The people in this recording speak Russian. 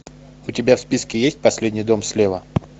у тебя в списке есть последний дом слева